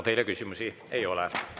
Teile küsimusi ei ole.